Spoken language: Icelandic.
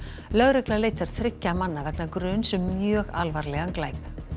lögregla leitar þriggja manna vegna gruns um mjög alvarlegan glæp